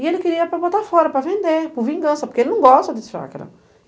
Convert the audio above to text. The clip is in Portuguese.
E ele queria para botar fora, para vender, por vingança, porque ele não gosta de chácara.